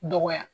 Dɔgɔya